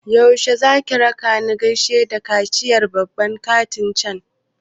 Yaushe zaki rakani gaida kashiyar babban kantin cen?